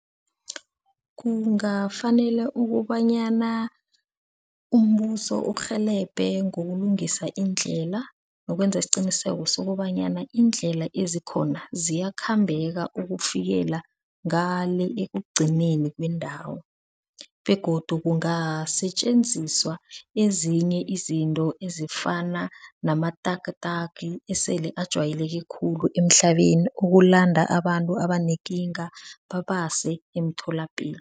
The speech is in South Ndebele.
Kungafanele ukobanyana umbuso urhelebhe ngokulungisa iindlela, nokwenza isiqiniseko sokobanyana iindlela ezikhona ziyakhambeka ukufikela ngale ekugcineni kwendawo. Begodu kungasetjenziswa ezinye izinto ezifana nama-tuk-tuk esele ajayeleke khulu emhlabeni ukulanda abantu abanekinga babase emtholapilo.